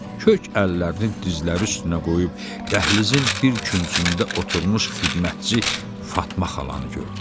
Kök əllərinin dizləri üstünə qoyub dəhlizin bir küncündə oturmuş xidmətçi Fatma xalanı gördü.